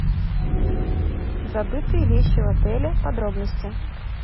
забытые вещи в отеле подробности